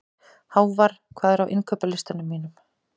Hávarr, hvað er á innkaupalistanum mínum?